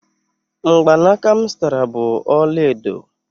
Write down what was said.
mgbanaka m zụtara bụ ọla edo